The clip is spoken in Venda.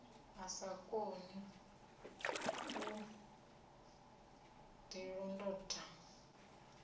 a sa koni u ḓilondota